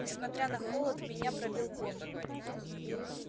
несмотря на холод меня пробил пот